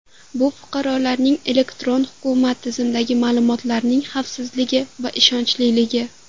Bu fuqaroning elektron hukumat tizimidagi ma’lumotlarining xavfsizligi va ishonchliligi.